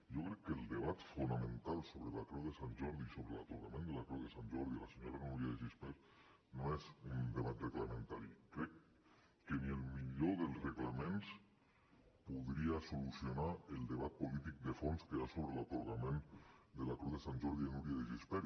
jo crec que el debat fonamental sobre la creu de sant jordi i sobre l’atorgament de la creu de sant jordi a la senyora núria de gispert no és un debat reglamentari crec que ni el millor dels reglaments podria solucionar el debat polític de fons que hi ha sobre l’atorgament de la creu de sant jordi a núria de gispert